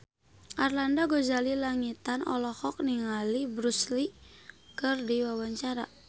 Arlanda Ghazali Langitan olohok ningali Bruce Lee keur diwawancara